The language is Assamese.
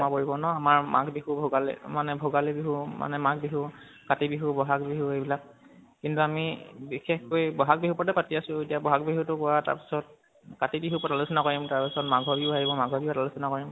সোমাই পৰিব ন, আমাৰ মাঘ বিহু ভোগালী, মনে ভোগালী বিহু মানে মাঘ বিহু, কাতি বিহু, বহাগ বিহু, এইবিলাক। কিন্তু আমি বিশেষ কৈ বহাগ বিহুৰ ওপৰতে পাতি আছোঁ । এতিয়া বহাগ বহুটো কোৱা তাৰপিছত কাতি বিহুৰ উপৰত আলোচনা কৰিম তাৰপিছত মাঘ বিহু আহিব, মঘৰ বিহুৰ আলোচনা কৰিম।